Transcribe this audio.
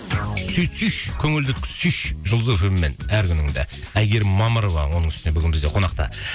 сөйтсейші көңілді өткізшейші жұлдыз фм мен әр күніңді әйгерім мамырова оның үстіне бүгін бізде қонақта